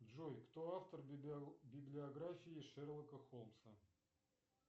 джой кто автор библиографии шерлока холмса